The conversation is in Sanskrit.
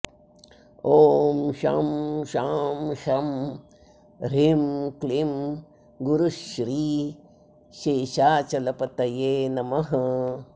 ॐ शं शां षं ह्रीं क्लीं गुरुश्री शेषाचलपतये नमः